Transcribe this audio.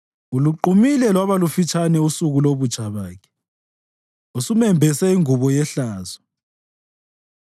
Uluqumile lwaba lufitshane usuku lobutsha bakhe; usumembese ingubo yehlazo.